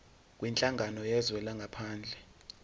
kwinhlangano yezwe langaphandle